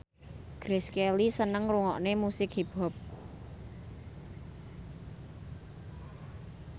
Grace Kelly seneng ngrungokne musik hip hop